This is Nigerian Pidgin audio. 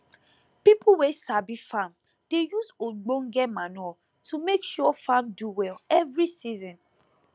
people wey sabi farm dey use ogbonge manure to make sure farm do well every season